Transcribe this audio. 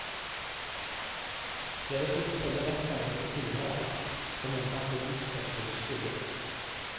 De hadde fulgt selve rettssaken på tilhørerplass og mente at bevisførselen skurret.